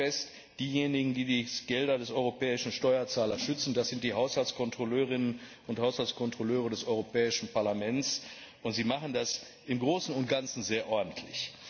Ich stelle fest Diejenigen, die die Gelder des europäischen Steuerzahlers schützen, das sind die Haushaltskontrolleurinnen und Haushaltskontrolleure des Europäische Parlaments, und sie machen das im Großen und Ganzen sehr ordentlich.